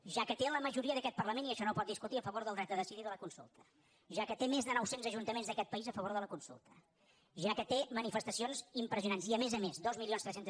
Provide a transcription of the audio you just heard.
ja que té la majoria d’aquest parlament i això no ho pot discutir a favor del dret a decidir i de la consulta ja que té més de noucents ajuntaments d’aquest país a favor de la consulta ja que té manifestacions impressionants i a més a més dos mil tres cents